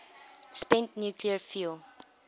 spent nuclear fuel